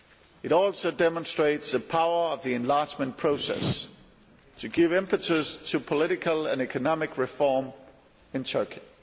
it also demonstrates the power of the enlargement process to give impetus to political and economic reform in Turkey.